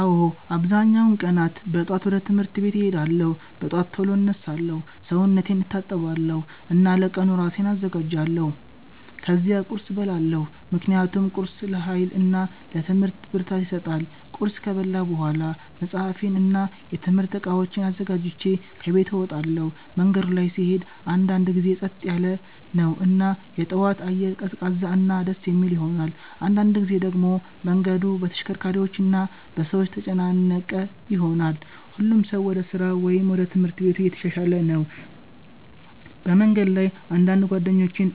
አዎ፣ አብዛኛውን ቀናት ጠዋት ወደ ትምህርት ቤት እሄዳለሁ። በጠዋት ቶሎ እነሳለሁ፣ ሰውነቴን እታጠባለሁ እና ለቀኑ እራሴን አዘጋጃለሁ። ከዚያ ቁርስ እበላለሁ ምክንያቱም ቁርስ ለኃይል እና ለትምህርት ብርታት ይሰጣል። ቁርስ ከበላሁ በኋላ መጽሐፌን እና የትምህርት እቃዎቼን አዘጋጅቼ ከቤት እወጣለሁ። መንገዱ ላይ ስሄድ አንዳንድ ጊዜ ጸጥ ያለ ነው እና የጠዋት አየር ቀዝቃዛ እና ደስ የሚል ይሆናል። አንዳንድ ጊዜ ደግሞ መንገዱ በተሽከርካሪዎች እና በሰዎች ተጨናነቀ ይሆናል፣ ሁሉም ሰው ወደ ስራ ወይም ወደ ትምህርት ቤት እየተሻሻለ ነው። በመንገድ ላይ አንዳንድ ጓደኞቼን